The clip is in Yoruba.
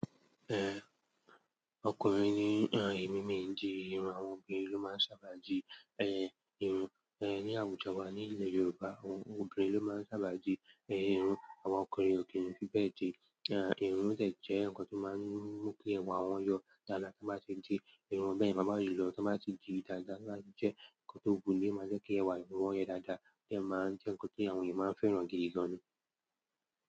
Ẹn, ọkùnrin ní ẹ̀mí mìdìrùn àwọn obìnrin ló máa ń sábà di ẹ́, ìrùn. Ẹ̀ ní Àwùjọ wa ní ilẹ̀ Yorùbá, àwọn obìnrin ló máa ń sábà di ẹ́, ìrùn àwọn ọkùnrin ò kí n fí bẹ́ẹ̀ dì. Ẹ̀ ìrùn ṣẹ̀ jẹ́ nǹkan tó máa ń mú kí ẹwà wọn yọ dáadáa tí wọ́n bá ṣe dirùn bẹ́ẹ̀ ma ba jù lọ tí wọ́n bá ti dì dàda owa jẹ́ nǹkan tó gún tíì máa ń jẹ́ kí ẹwà ẹ́ wọn yẹ dáadáa, bí ẹ́ máa ń jẹ́ nǹkan tí àwọn ènìyàn máa ń fẹ́ràn gidigan ni.